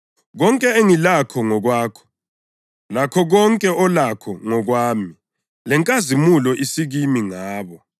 Konke engilakho ngokwakho, lakho konke olakho ngokwami. Lenkazimulo isikimi ngabo.